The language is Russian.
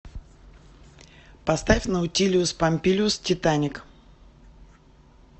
поставь наутилиус помпилиус титаник